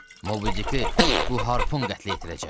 Mobi bu harpun qətlə yetirəcək.